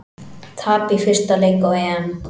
Tap í fyrsta leik á EM